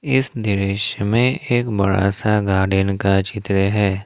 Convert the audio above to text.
इस दृश्य में एक बड़ा सा गार्डन का चित्र है।